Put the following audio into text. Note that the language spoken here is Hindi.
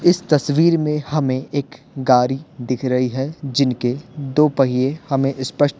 इस तस्वीर में हमें एक गाड़ी दिख रही है जिनके दो पहिए हमें स्पष्ट--